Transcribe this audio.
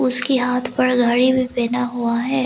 उसके हाथ पर घड़ी भी पहना हुआ है।